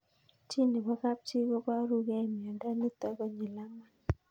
Chii nepo kapchii koparukei miondo nitok konyil angwan